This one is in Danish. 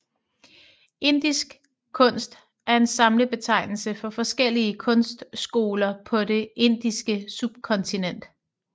Indisk kunst er en samlebetegnelse for forskellige kunstskoler på det indiske subkontinent